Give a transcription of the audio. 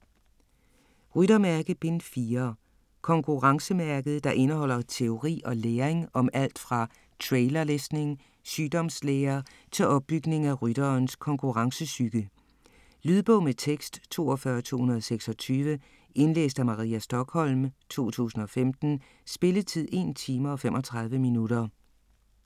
Ryttermærke: Bind 4 Konkurrencemærket, der indeholder teori og læring om alt fra trailerlæsning, sygdomslære til opbygning af rytterens konkurrencepsyke. Lydbog med tekst 42226 Indlæst af Maria Stokholm, 2015. Spilletid: 1 time, 35 minutter.